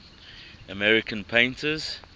american painters